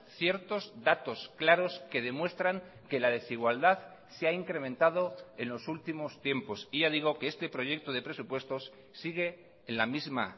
ciertos datos claros que demuestran que la desigualdad se ha incrementado en los últimos tiempos y ya digo que este proyecto de presupuestos sigue en la misma